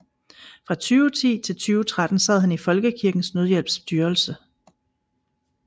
Fra 2010 til 2013 sad han i Folkekirkens Nødhjælps styrelse